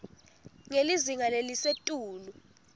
ngelizinga lelisetulu